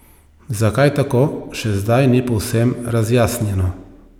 Zakaj tako, še zdaj ni povsem razjasnjeno.